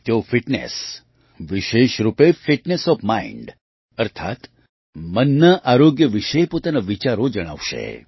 તેઓ ફિટનેસ વિશેષ રૂપે ફિટનેસ ઓએફ માઇન્ડ અર્થાત્ મનના આરોગ્ય વિશે પોતાના વિચારો જણાવશે